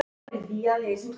Henni brá.